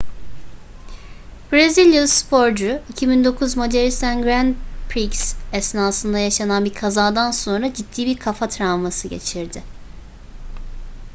brezilyalı sporcu 2009 macaristan grand prix esnasında yaşanan bir kazadan sonra ciddi bir kafa travması geçirdi